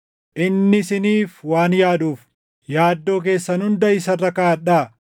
Inni isiniif waan yaaduuf, yaaddoo keessan hunda isa irra kaaʼadhaa.